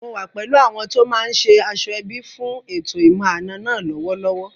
Mò wà pẹ̀lú àwọn tó máa ṣe aṣọ-ẹbí fún ètò ìmọ̀-àna náà lọ́wọ́lọ́wọ́